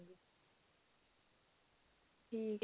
ਠੀਕ ਹੈ